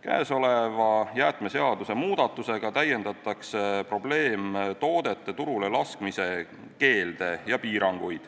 Kõnealuse jäätmeseaduse muudatusega täiendatakse probleemtoodete turule laskmise keelde ja piiranguid,